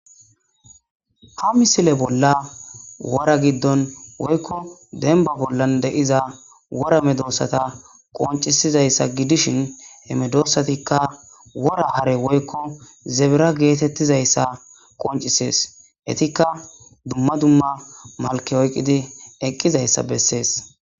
Ha misile bolla wora giddon woykko denba bollan de'iza worame doossata qoncisizayssa gidishin hemedoossatikka wora hare woykko zebera geetettizayssa qoncisees etikka dumma dumma malke oyqidi eqqizayssa bessees.